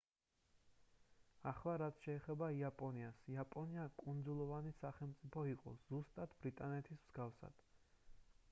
ახლა რაც შეეხება იაპონიას იაპონია კუნძულოვანი სახელმწიფო იყო ზუსტად ბრიტანეთის მსგავსად